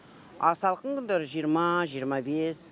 а салқын күндері жиырма жиырма бес